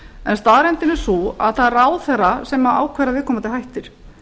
en staðreyndin er sú að það er ráðherra sem ákvarðar að viðkomandi hættir